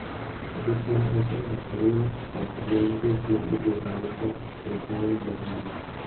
Gik ma osewacho ni ok gin gik ma ibiro ng�ado e nyim dohoni.